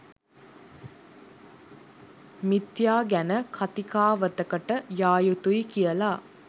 මිථ්‍යා ගැන කතිකාවතකට යා යුතුයි කියලා.